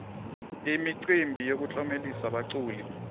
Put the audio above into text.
imicimbi yokutlomelisa baculi